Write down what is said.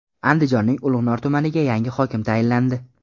Andijonning Ulug‘nor tumaniga yangi hokim tayinlandi.